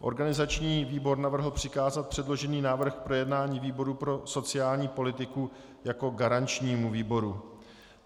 Organizační výbor navrhl přikázat předložený návrh k projednání výboru pro sociální politiku jako garančnímu výboru.